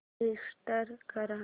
select कर